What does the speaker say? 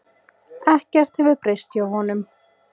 Ekkert hefur breyst hjá honum.